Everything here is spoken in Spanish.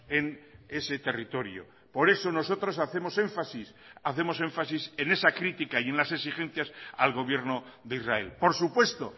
en ese territorio por eso nosotros hacemos énfasis hacemos énfasis en esa crítica y en las exigencias al gobierno de israel por supuesto